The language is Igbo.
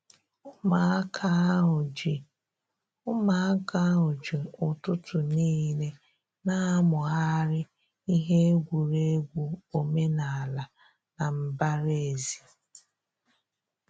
Ụmụaka ahụ ji Ụmụaka ahụ ji ụtụtụ n'ile na-amụgharị ihe egwuregwu omenala na mbara ezi